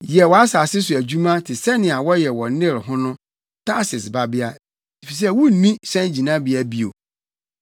Yɛ wʼasase so adwuma te sɛnea wɔyɛ wɔ Nil ho no Tarsis Babea, efisɛ wunni hyɛngyinabea bio.